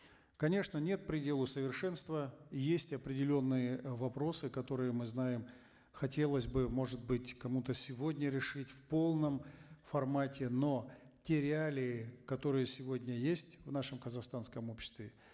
конечно нет предела совершенству есть определенные э вопросы которые мы знаем хотелось бы может быть кому то сегодня решить в полном формате но те реалии которые сегодня есть в нашем казахстанском обществе